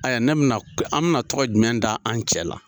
Ɛ ne bɛna, an bɛna tɔgɔ jumɛn da an cɛ la.